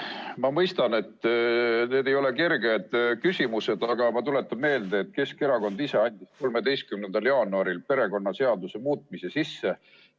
Ma mõistan, et need ei ole kerged küsimused, aga ma tuletan meelde, et Keskerakond ise andis 13. jaanuaril perekonnaseaduse muutmise seaduse eelnõu sisse.